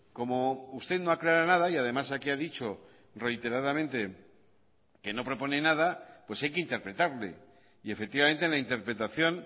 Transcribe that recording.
como usted no aclara nada y además aquí ha dicho reiteradamente que no propone nada pues hay que interpretarle y efectivamente en la interpretación